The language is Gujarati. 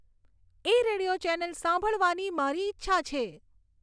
એ રેડિયો ચેનલ સંભાળવાની મારી ઈચ્છા છે